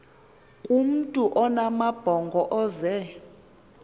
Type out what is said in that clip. kumntu onamabhongo ozee